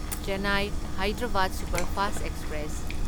Chennai Hyderabad superfast express